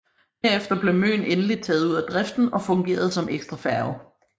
Herefter blev Møn endelig taget ud af driften og fungerede som ekstrafærge